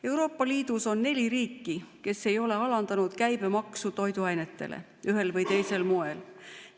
Euroopa Liidus on neli riiki, kes ei ole alandanud toiduainete käibemaksu ühel või teisel moel.